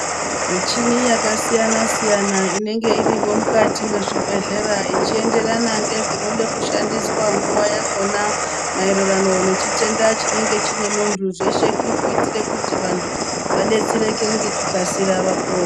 Michini yakasiyana siyana inenge irimwo mukati vemuzvibhedhlera ichienderane nezvinoda kushandiswa nguva yakona maererano nechitenda chinenge chine muntu zveshe kurikuti vantu vadetsereke ngekukasira vapone.